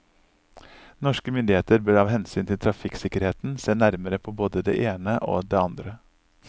Norske myndigheter bør av hensyn til trafikksikkerheten se nærmere på både det ene og det andre.